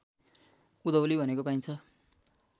उधौली भनेको पाइन्छ